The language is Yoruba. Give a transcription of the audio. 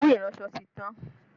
Òwú iransọ ti tán